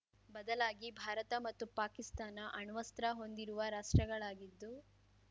ಬದಲಾಗಿ ಭಾರತ ಮತ್ತು ಪಾಕಿಸ್ತಾನ ಅಣ್ವಸ್ತ್ರ ಹೊಂದಿರುವ ರಾಷ್ಟ್ರಗಳಾಗಿದ್ದು